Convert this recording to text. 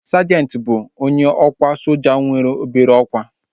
Sajenti bụ onye ọkwa soja nwere obere ọkwá